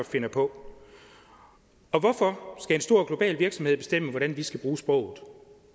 finder på og hvorfor skal en stor global virksomhed bestemme hvordan vi skal bruge sproget